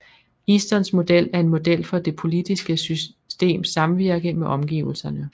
Eastons model er en model for det politiske systems samvirke med omgivelserne